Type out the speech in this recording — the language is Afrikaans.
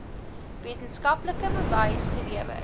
wetenskaplike bewys gelewer